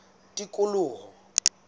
tikoloho